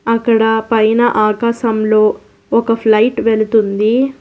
అక్కడ పైన ఆకాశంలో ఒక ఫ్లైట్ వెళుతుంది.